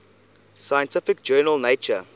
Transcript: scientific journal nature